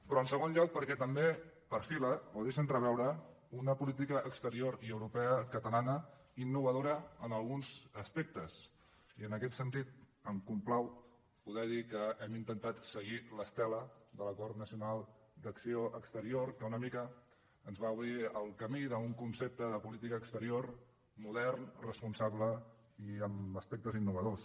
però en segon lloc perquè també perfila o deixa entreveure una política exterior y europea catalana innovadora en alguns aspectes i en aquest sentit em complau poder dir que hem intentat seguir l’estela de l’acord nacional d’acció exterior que una mica ens va obrir el camí d’un concepte de política exterior modern responsable i amb aspectes innovadors